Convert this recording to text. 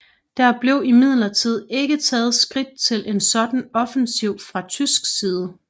Der blev imidlertid ikke taget skridt til en sådan offensiv fra tysk side